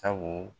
Sabu